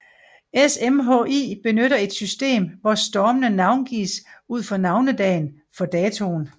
SMHI benytter et system hvor stormene navngives ud fra navnedagen for datoen